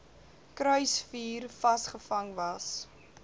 kruisvuur vasgevang was